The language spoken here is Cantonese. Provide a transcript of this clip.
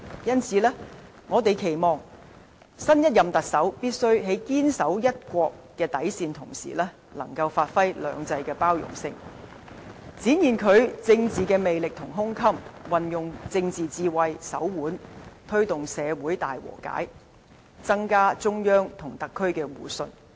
因此，我們期望，新一任特首必須堅守"一國"底線，亦能同時發揮"兩制"的包容性，展現政治魅力和胸襟，運用政治智慧和手腕，推動社會大和解，增強中央與特區的互信。